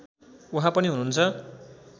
उहाँ पनि हुनुहुन्छ